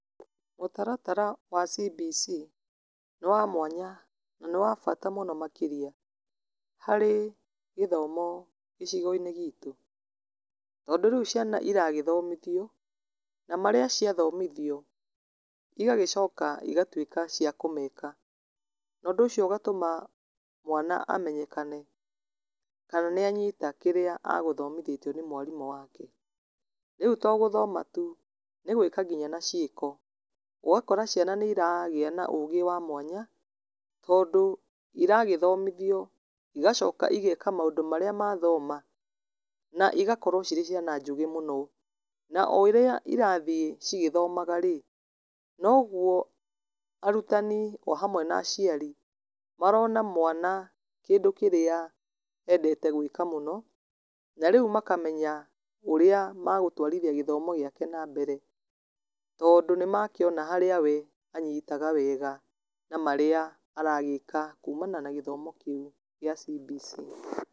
Mũtaratara wa CBC nĩ wa mwanya, na nĩ wabata mũno makĩria, harĩ gĩthomo gĩcigo-inĩ gitũ, tondũ rĩu ciana iragĩthomithio, na marĩa ciathomithio, igagĩcoka igatuĩka cia kũmeka, nondũ ũcio ũgatũma mwana amenyekane kana nĩ anyita kĩrĩa agũthomithĩtio nĩ mwarimũ wake, rĩu to gũthoma tu, nĩ gwĩka ngina na ciĩko, ũgakora ciana nĩ iragia na ũgĩ wa mwanya, tondũ iragĩthomithio igacoka igeka maũndũ marĩa mathoma, na igakorwo cirĩ ciana njũge mũno, na o ũrĩa cirathiĩ cigĩthomaga rĩ, noguo arutani o hamwe naciari, marona mwana kĩndũ kĩrĩa endete gwĩka mũno, na rĩu makamenya ũrĩa megũtwarithia gĩthomo gĩake na mbere, tondũ nĩ makĩona harĩa we anyitaga wega, na marĩa aragĩka kuumana na gĩthomo kĩu, gĩa CBC.